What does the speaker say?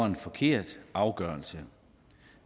en forkert afgørelse